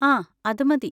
ആ, അത് മതി.